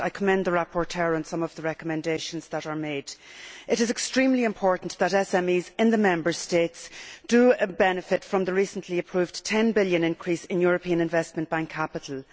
I commend the rapporteur for some of the recommendations made. It is extremely important that SMEs in the Member States do benefit from the recently approved EUR 10 billion increase in European Investment Bank capital.